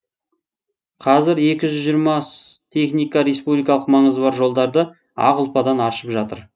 қазір екі жүз жиырма техника республикалық маңызы бар жолдарды ақ ұлпадан аршып жатыр